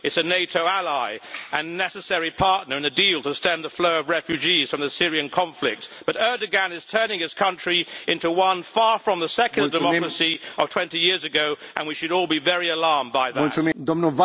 It is a NATO ally and a necessary partner in the deal to stem the flow of refugees from the Syrian conflict, but Erdoğan is turning his country into one far from the secular democracy of 20 years ago, and we should all be very alarmed by that.